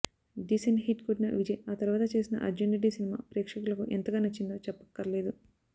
decent hit కొట్టిన విజయ్ ఆ తరువాత చేసిన అర్జున్ రెడ్డి సినిమా ప్రేక్షకులకు ఎంతగా నచ్చిందో చెప్పక్కర్లేదు